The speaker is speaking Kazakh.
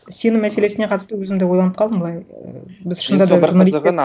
сенім мәселесіне қатысты өзім де ойланып қалдым былай ііі біз шынында да